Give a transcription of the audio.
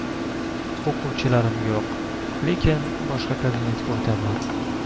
O‘quvchilarim yo‘q, lekin boshqa kabinetga o‘taman.